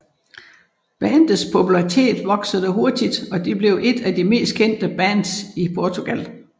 Bandets popularitet voksede hurtigt og de blev et af de mest kendte bands i Portugal